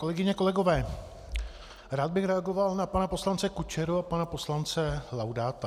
Kolegyně, kolegové, rád bych reagoval na pana poslance Kučeru a pana poslance Laudáta.